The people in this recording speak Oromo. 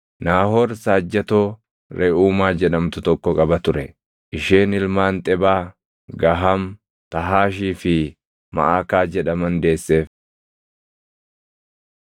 Naahor saajjatoo Reʼuumaa jedhamtu tokko qaba ture; isheen ilmaan Xebaa, Gaham, Tahaashii fi Maʼakaa jedhaman deesseef.